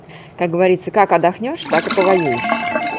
как говорится как отдохнёшь так и по воюешь